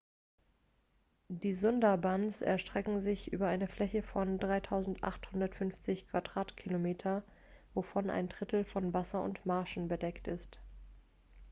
die sundarbans erstrecken sich über eine fläche von 3.850 km² wovon ein drittel von wasser und marschen bedeckt ist